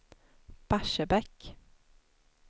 Barsebäck